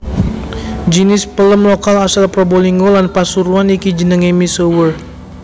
Jinis pelem lokal asal Probolinggo lan Pasuruan iki jenengé misuwur